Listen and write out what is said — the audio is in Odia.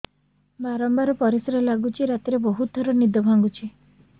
ବାରମ୍ବାର ପରିଶ୍ରା ଲାଗୁଚି ରାତିରେ ବହୁତ ଥର ନିଦ ଭାଙ୍ଗୁଛି